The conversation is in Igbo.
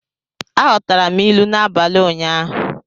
Aghọtara m ilu n'abalị ụnyaahụ.